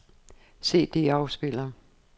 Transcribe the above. CD-afspiller